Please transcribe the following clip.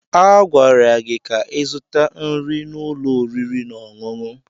A gwara gị ka ịzụta nri n'ụlọ oriri na ọṅụṅụ!